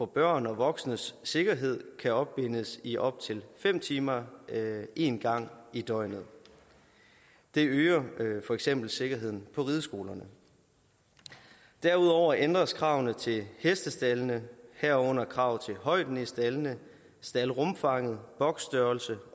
børn og voksnes sikkerhed kan opbindes i op til fem timer én gang i døgnet det øger for eksempel sikkerheden på rideskolerne derudover ændres kravene til hestestaldene herunder kravet til højden i staldene staldrumfanget boksstørrelsen